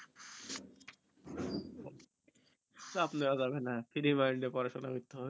চাপ নেওয়া যাবে না free mind এ পড়াশোনা করতে হবে